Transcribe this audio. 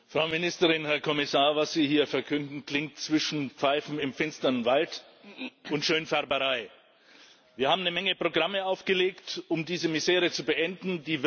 Frau Präsidentin, Frau Ministerin, Herr Kommissar! Was Sie hier verkünden, klingt zwischen Pfeifen im finsteren Wald und Schönfärberei. Wir haben eine Menge Programme aufgelegt, um diese Misere zu beenden.